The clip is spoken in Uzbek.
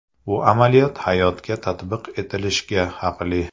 Bu amaliyot hayotga tatbiq etilishga haqli.